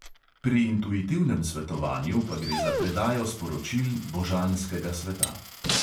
Pri intuitivnem svetovanju pa gre za predajo sporočil božanskega sveta.